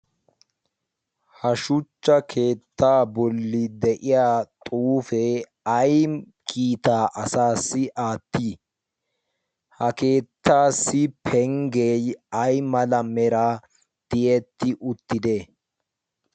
Ha shuchccha keetta booli de'iyaa xuufe ay kiitaa asassi aatti? ha keettassi pengge aymala mera tiyetti uttide?